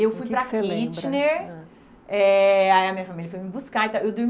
O que você lembra? Eu fui para Kitchener, ãh, eh aí a minha família foi me buscar e tal. Eu